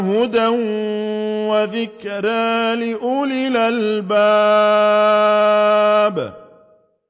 هُدًى وَذِكْرَىٰ لِأُولِي الْأَلْبَابِ